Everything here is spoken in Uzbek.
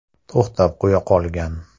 To‘xtatib qo‘ya qolgan.